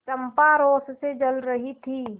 चंपा रोष से जल रही थी